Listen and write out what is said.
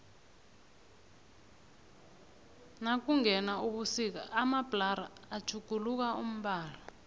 nakungena ubusika amabhlara atjhuguluka umbala